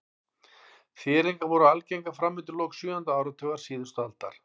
Þéringar voru algengar fram undir lok sjöunda áratugar síðustu aldar.